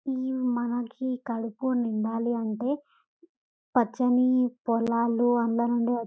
ఈ మనకి కడుపు నిండాలి అంటే పచ్చని పొల్లాలో అందంనుండి --